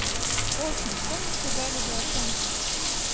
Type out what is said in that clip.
в общем что мне сказали за оценку